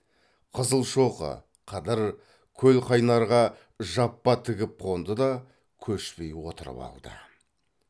қызылшоқы қыдыр көлқайнарға жаппа тігіп қонды да көшпей отырып алды